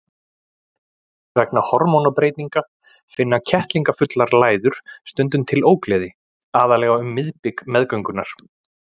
Vegna hormónabreytinga finna kettlingafullar læður stundum til ógleði, aðallega um miðbik meðgöngunnar.